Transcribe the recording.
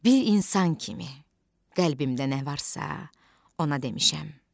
Bir insan kimi qəlbimdən nə varsa ona demişəm.